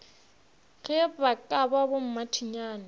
ge ba ka ba bommathinyane